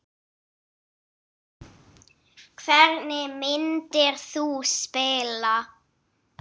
Hvernig myndir þú spila?